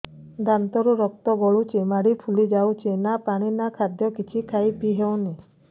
ଦାନ୍ତ ରୁ ରକ୍ତ ଗଳୁଛି ମାଢି ଫୁଲି ଯାଉଛି ନା ପାଣି ନା ଖାଦ୍ୟ କିଛି ଖାଇ ପିଇ ହେଉନି